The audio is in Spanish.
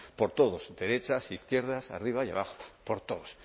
por todos derechas izquierdas arriba y abajo por todos